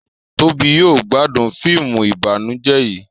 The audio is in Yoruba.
Tóbi yóò gbádùn fíìmù ìbànújẹ yí